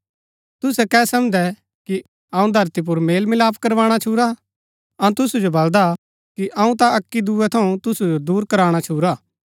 तुसै के समझदै कि अऊँ धरती पुर मेल मिलाप करवाणा छूरा अऊँ तुसु जो बलदा कि अऊँ ता अक्की दुऐ थऊँ तुसु जो दूर कराणा छूरा